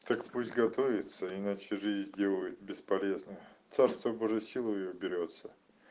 так пусть готовится иначи чужие сделают бесполезных царство божие силою берётся